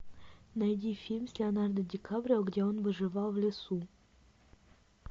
найди фильм с леонардо ди каприо где он выживал в лесу